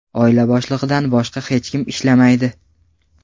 Oila boshlig‘idan boshqa hech kim ishlamaydi.